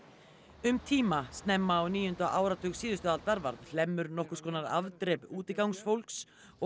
um tíma snemma á níunda áratug síðustu aldar varð Hlemmur nokkurs konar afdrep útigangsfólks og